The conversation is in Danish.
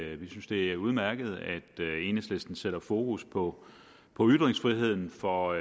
at vi synes det er udmærket at enhedslisten sætter fokus på på ytringsfriheden for